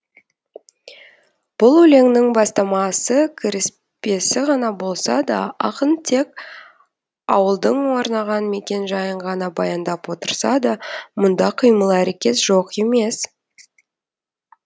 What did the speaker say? бұл өлеңнің бастамасы кіріспесі ғана болса да ақын тек ауылдың орнаған мекен жайын ғана баяндап отырса да мұнда қимыл әрекет жоқ емес